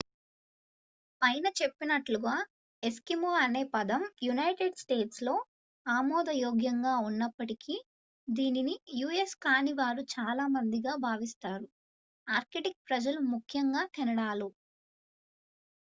"పైన చెప్పినట్లుగా "ఎస్కిమో" అనే పదం యునైటెడ్ స్టేట్స్ లో ఆమోదయోగ్యంగా ఉన్నప్పటికీ దీనిని యుఎస్ కాని వారు చాలా మందిగా భావిస్తారు. ఆర్కిటిక్ ప్రజలు ముఖ్యంగా కెనడాలో.